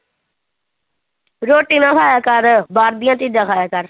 ਰੋਟੀ ਨਾ ਖਾਇਆ ਕਰ, ਬਾਹਰ ਦੀਆਂ ਚੀਜ਼ਾਂ ਖਾਇਆ ਕਰ।